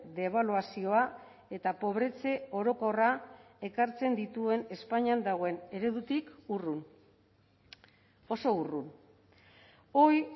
debaluazioa eta pobretze orokorra ekartzen dituen espainian dagoen eredutik urrun oso urrun hoy